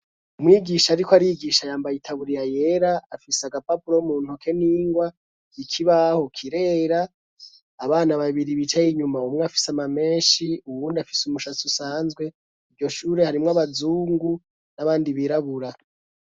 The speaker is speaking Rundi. Umwigisha, ariko arigisha yambaye itaburira yera afise agapapulo mu ntoke n'ingwa ikibaho kirera abana babiri bicaye inyuma umwe afise amamenshi uwundi afise umushatse usanzwe iryo shure harimwo abazungu n'abandi birabura.